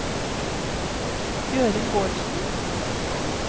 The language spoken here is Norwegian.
Gøril Bårdsen